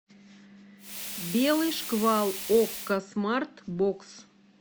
белый шквал окко смарт бокс